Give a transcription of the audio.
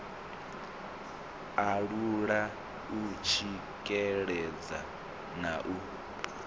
alula u tsikeledza na u